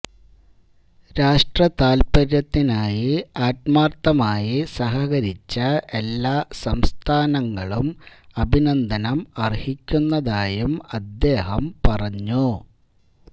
രാഷ്ട്ര താൽപര്യത്തിനായി ആത്മാർഥമായി സഹകരിച്ച എല്ലാ സംസ്ഥാനങ്ങളും അഭിനന്ദനം അർഹിക്കുന്നതായും അദ്ദേഹം പറഞ്ഞു